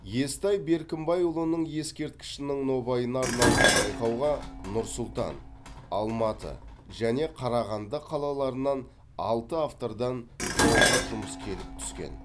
естай беркімбайұлының ескерткішінің нобайына арналған байқауға нұр сұлтан алматы және қарағанды қалаларынан алты автордан тоғыз жұмыс келіп түскен